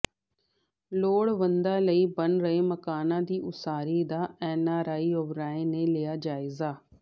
ਲੋੜਵੰਦਾਂ ਲਈ ਬਣ ਰਹੇ ਮਕਾਨਾਂ ਦੀ ਉਸਾਰੀ ਦਾ ਐਨਆਰਆਈ ਓਬਰਾਏ ਨੇ ਲਿਆ ਜਾਇਜ਼ਾ